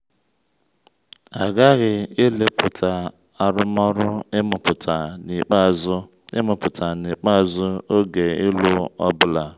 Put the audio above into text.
a ghaghị ilepụta arụmọrụ ịmụpụta n’ikpeazụ ịmụpụta n’ikpeazụ oge ịlụ ọ bụla.